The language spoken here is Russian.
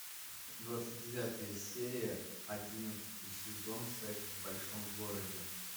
двадцать девятая серия одиннадцатый сезон секс в большом городе